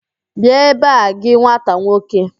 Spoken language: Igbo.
Bịa ebe a gị nwata nwoke!